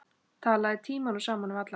Talaðir tímunum saman við alla.